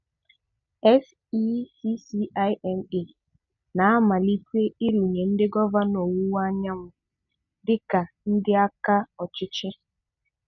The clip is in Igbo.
SECCIMA na-amalite/arụnye ndị gọ̀vanọ Ọ̀wụ̀wa Anyanwū dị ka ndị àkà ọ̀chịchīe.